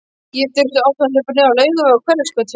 Ég þurfti oft að hlaupa niður á Laugaveg og Hverfisgötu.